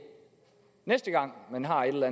næste gang man har et eller